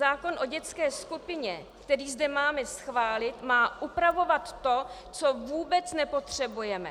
Zákon o dětské skupině, který zde máme schválit, má upravovat to, co vůbec nepotřebujeme.